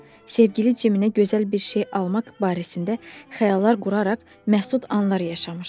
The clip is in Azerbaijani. Sevgili Cimə gözəl bir şey almaq barəsində xəyallar quraraq məsud anlar yaşamışdı.